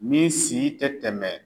Min si tɛ tɛmɛ